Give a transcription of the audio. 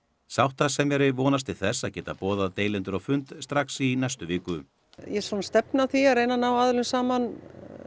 sáttasemjari vonast til þess að geta boðað deilendur á fund strax í næstu viku ég svona stefni að því að reyna ná aðilum saman